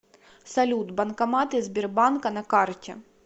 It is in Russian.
салют банкоматы сбербанка на карте